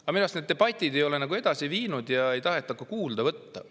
Aga minu arust need debatid ei ole edasi viinud ja kuulda ka ei taheta võtta.